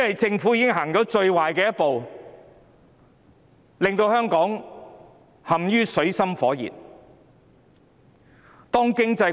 政府已經走了最壞的一步，令香港陷於水深火熱之中。